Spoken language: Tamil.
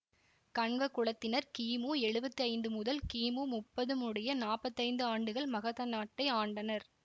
கண்வ குலத்தினர் கி மு எழுவத்தி ஐந்து முதல் கி மு முப்பது முடிய நாப்பத்தி ஐந்து ஆண்டுகள் மகத நாட்டை ஆண்டனர்